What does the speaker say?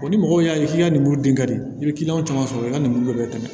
ni mɔgɔw y'a ye k'i ka muru d'i i bi kiliyanw caman sɔrɔ i ka lemuru dɔ bɛ tɛmɛ